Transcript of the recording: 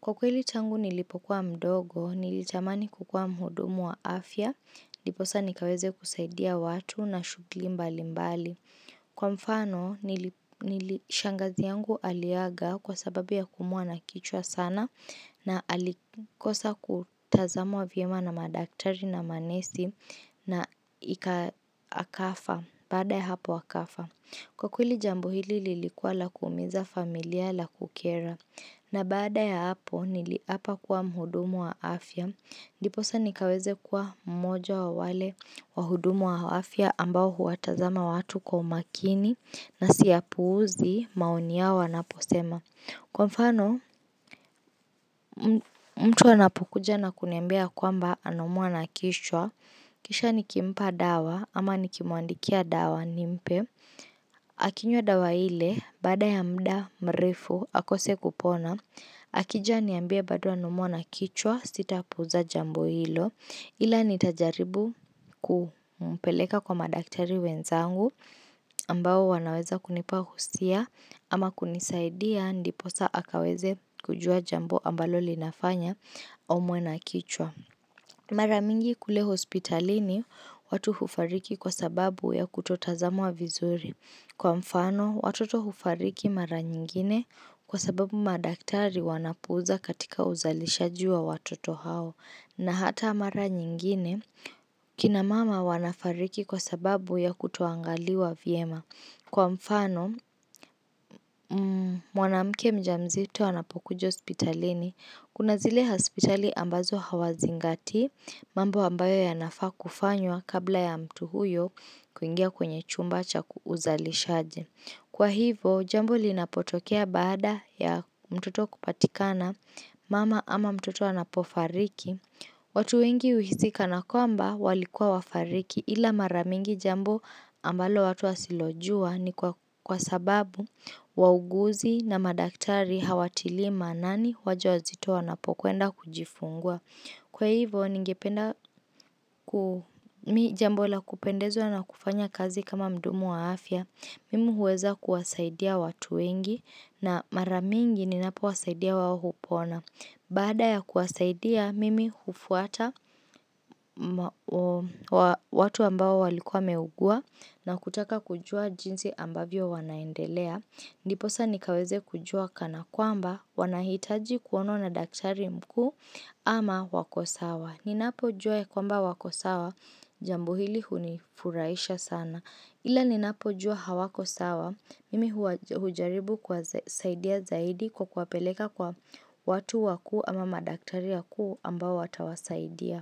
Kwa kweli tangu nilipokuwa mdogo, nilitamani kukua mhudumu wa afya, niposa nikaweze kusaidia watu na shughuli mbali mbali. Kwa mfano, shangazi yangu aliaga kwa sababu ya kuumwa na kichwa sana na alikosa kutazamwa vyema na madaktari na manesi na akafa baada ya hapo akafa. Kwa kweli jambu hili lilikuwa la kuumiza familia la kukera. Na baada ya hapo niliapa kuwa mhudumu wa afya. Ndiposa nikaweze kuwa mmojo wa wale wahudumu wa afya ambao huwatazama watu kwa umakini na siyapuuzi maoni yao wanaposema. Kwa mfano mtu anapukuja na kuniambia kwamba anaumwa na kichwa. Kisha niki mpa dawa ama nikimwandikia dawa nimpe. Akinywa dawa ile baada ya mda mrefu akose kupona Akija aniambie bado anaumwa na kichwa sitapuuza jambo hilo Ila nitajaribu kumpeleka kwa madaktari wenzangu ambao wanaweza kunipahusia ama kunisaidia ndiposa akaweze kujua jambo ambalo linafanya aumwe na kichwa Maramingi kule hospitalini watu hufariki kwa sababu ya kutotazamwa vizuri Kwa mfano, watoto hufariki mara nyingine kwa sababu madaktari wanapuza katika uzalishaji wa watoto hao na hata mara nyingine kinamama wanafariki kwa sababu ya kutoangaliwa vyema. Kwa mfano, mwanamke mjamzito anapokuja hospitalini, kunazile hospitali ambazo hawazingatii, mambo ambayo ya nafaa kufanywa kabla ya mtu huyo kuingia kwenye chumba cha uzalishaji. Kwa hivo, jambo linapotokea baada ya mtoto kupatikana mama ama mtoto anapofariki. Watu wengi uhisi kanakwamba walikua wafariki ila maramingi jambo ambalo watu wasilojua ni kwa sababu wauguzi na madaktari hawatili maanani wajawazito wanapokwenda kujifungua. Kwa hivo, ni jambo la kupendezwa na kufanya kazi kama mdumu wa afya, mimi huweza kuwasaidia watu wengi na maramingi ni napo wasaidia wao hupona. Baada ya kuwasaidia, mimi hufuata watu ambao walikua wameugua na kutaka kujua jinsi ambavyo wanaendelea. Ndiposa nikaweze kujua kana kwamba wanahitaji kuonwa na daktari mkuu ama wakosawa. Ninapo jua ya kwamba wako sawa, jambo hili hunifurahisha sana. Ila ninapo jua hawako sawa, mimi hujaribu kuwa saidia zaidi kwa kuwapeleka kwa watu wakuu ama madaktari wakuu ambao watawasaidia.